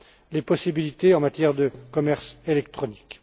les possibilités en matière de commerce électronique.